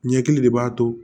Ɲɛkili de b'a to